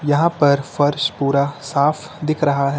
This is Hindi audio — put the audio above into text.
यहां पर फर्श पूरा साफ दिख रहा है।